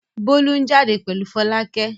Bólú ń jáde pẹ̀lú Fọlákẹ́.